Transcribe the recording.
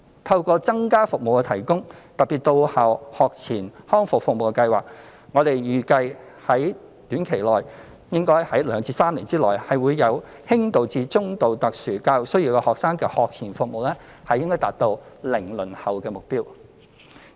透過增加提供服務，特別是到校學前康復服務，我們預計應可於短期的2至3年內，為有輕度至中度特殊教育需要學生的學前服務達至"零輪候"的目標。